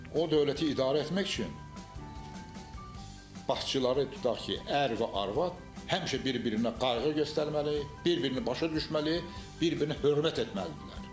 O dövləti idarə etmək üçün, bağçıları tutaq ki, ər və arvad həmişə bir-birinə qayğı göstərməli, bir-birini başa düşməli, bir-birinə hörmət etməlidirlər.